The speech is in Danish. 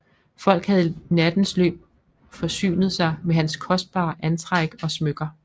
Folk havde i nattens løb forsynet sig med hans kostbare antræk og smykker